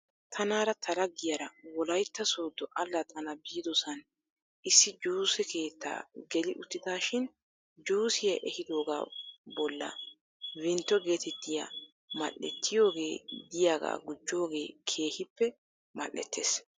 Tanaara ta laggiyaara wolaytta soodo allaxxana biidosan issi juuse keettaa geli uttidaashin juusiyaa ehidoogaa bolla vimto eetettiyaa mal'ettiyoogee digaagaa gujoogee keehippe mal"ittes.